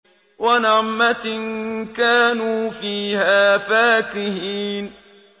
وَنَعْمَةٍ كَانُوا فِيهَا فَاكِهِينَ